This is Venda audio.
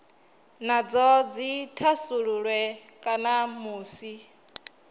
nadzo dzi thasululwe kana musi